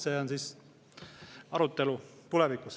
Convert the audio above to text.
See on arutelu tulevikuks.